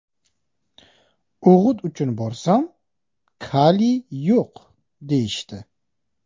O‘g‘it uchun borsam, kaliy yo‘q, deyishdi.